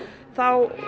þá